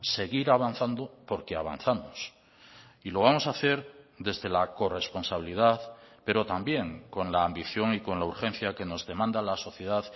seguir avanzando porque avanzamos y lo vamos a hacer desde la corresponsabilidad pero también con la ambición y con la urgencia que nos demanda la sociedad